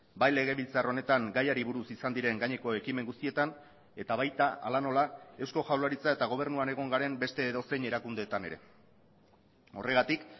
bai legebiltzar honetan gaiari buruz izan diren gaineko ekimen guztietan eta baita hala nola eusko jaurlaritza eta gobernuan egon garen beste edozein erakundeetan ere horregatik